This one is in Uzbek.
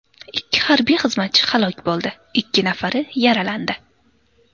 Ikki harbiy xizmatchi halok bo‘ldi, ikki nafari yaralandi.